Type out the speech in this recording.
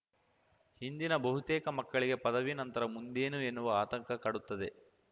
ಇಂದಿನ ಬಹುತೇಕ ಮಕ್ಕಳಿಗೆ ಪದವಿ ನಂತರ ಮುಂದೇನು ಎನ್ನುವ ಆತಂಕ ಕಾಡುತ್ತದೆ